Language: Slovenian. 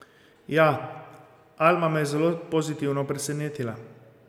Ja, Alma me je zelo pozitivno presenetila.